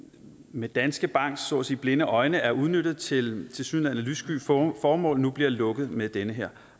med danske banks så at sige blinde øjne er udnyttet til tilsyneladende lyssky formål nu bliver lukket med den her